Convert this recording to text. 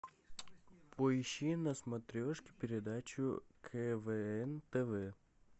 поищи на смотрешке передачу квн тв